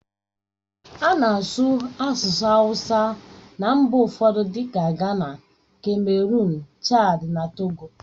A na-asụ asụsụ awusa na mba ụfọdụ dịka Gana, kameruụn, Chadi na Togo.